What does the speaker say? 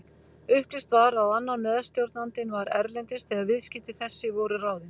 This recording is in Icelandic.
Upplýst var að annar meðstjórnandinn var erlendis þegar viðskipti þessi voru ráðin.